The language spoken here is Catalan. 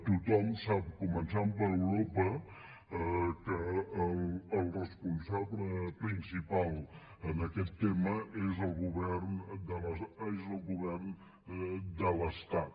tothom sap començant per europa que el responsable principal en aquest tema és el govern de l’estat